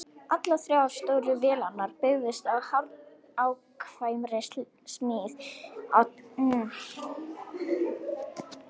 Allar þrjár stóru vélarnar byggðust á hárnákvæmri smíð á tannhjólum og öðrum vélrænum hlutum.